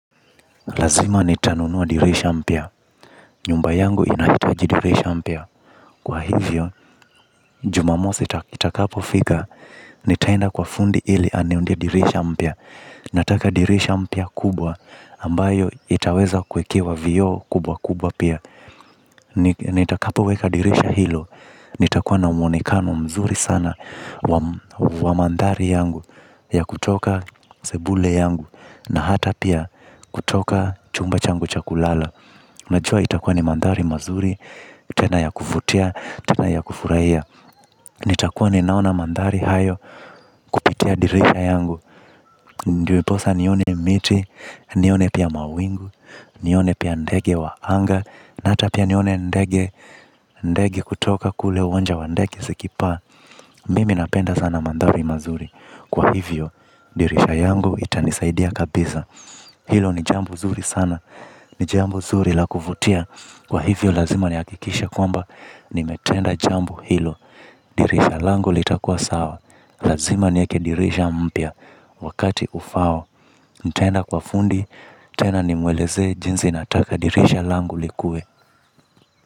Lazima nitanunua dirisha mpya, nyumba yangu inahitaji dirisha mpya. Kwa hivyo, jumamosi itakapo fika, nitaenda kwa fundi ili aniundie dirisha mpya. Nataka dirisha mpya kubwa, ambayo itaweza kuwekewa vioo kubwa kubwa pia. Nitakapo weka dirisha hilo, nitakuwa na mwonekano mzuri sana wa mandhari yangu. Ya kutoka sebule yangu, na hata pia kutoka chumba changu cha kulala najua itakuwa ni mandhari mazuri, tena ya kuvutia, tena ya kufurahia. Nitakuwa ninaona mandhari hayo kupitia dirisha yangu. Ndiposa nione miti, nione pia mawingu, nione pia ndege wa anga. Na hata pia nione ndege, ndege kutoka kule uwanja wa ndege zikipaa. Mimi napenda sana mandhari mazuri. Kwa hivyo, dirisha yangu itanisaidia kabisa. Hilo ni jambo zuri sana, ni jambo zuri la kuvutia. Kwa hivyo lazima ni hakikishe kwamba, nimetenda jambo hilo, dirisha langu litakua sawa, lazima niweke dirisha mpya, wakati ufaao, nitenda kwa fundi, tena nimweleze jinsi nataka dirisha langu likue.